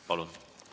Palun!